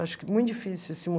Acho que é muito difícil assim